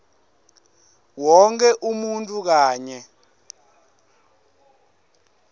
wonkhe umuntfu kanye